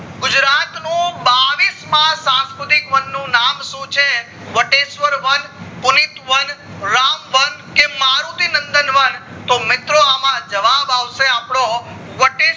ગુજરાત નો બાવીસ માં સંસ્કૃતિક વન નું નામ શું છે વટેશ્વર વન, કુલિત વન, રામ વન, કે મારુતિ નંદન વન તો મિત્રો અમ જવાબ આવશે આપડો વટેશ્વર